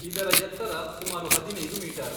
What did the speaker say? ಇದರ ಎತ್ತರ ಸುಮಾರು ಹದಿನೈದು ಮೀಟರ್.